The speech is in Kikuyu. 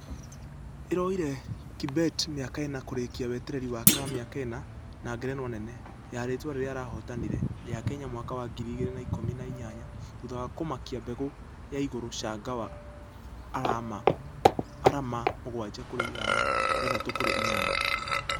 Ĩroire kibet mĩaka ĩna kŭrĩkia wĩtereri wake wa mĩaka ĩna wa ngerenwa nene .....ya rĩtwa rĩrĩa arahotanire ...ya kenya mwaka wa ngiri igĩrĩ na ikũmi na inyanya thutha wa kũmakia mbegũ ya igũrũ changawa arama mũgwaja kũrĩ ithano, ithathatũ kũrĩ inya.